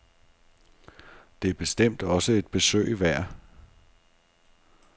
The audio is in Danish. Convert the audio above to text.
Det er bestemt også et besøg værd.